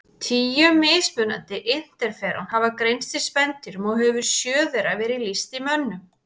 Tíu mismunandi interferón hafa greinst í spendýrum og hefur sjö þeirra verið lýst í mönnum.